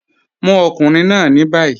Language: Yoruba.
Mu ọkùnrin náà ni bayí.